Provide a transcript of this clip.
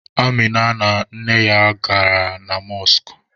Amịna na nne ya gabara na mọskụ.